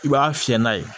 I b'a fiyɛ n'a ye